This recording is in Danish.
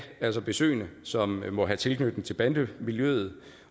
få besøgende som måtte have tilknytning til bandemiljøet